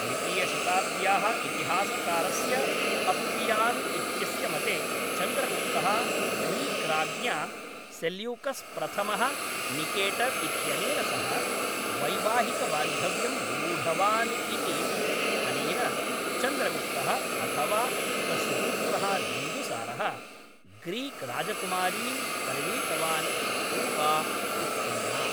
द्वितीयशताब्द्याः इतिहासकारस्य अप्पियान् इत्यस्य मते चन्द्रगुप्तः ग्रीक् राज्ञा सेल्यूकस् प्रथमः निकेटर् इत्यनेन सह वैवाहिकबान्धव्यं निरूढवान् इति, अनेन चन्द्रगुप्तः अथवा तस्य पुत्रः बिन्दुसारः, ग्रीक् राजकुमारीं परिणीतवान् इति ऊहा उत्पन्ना।